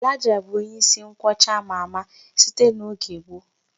Elijah bụ onye isi nkwọcha ama ama, site n'oge gboo.